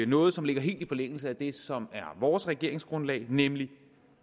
noget som ligger helt i forlængelse af det som er vores regeringsgrundlag nemlig